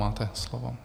Máte slovo.